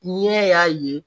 Tiɲɛ y'a ye